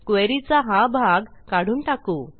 queryचा हा भाग काढून टाकू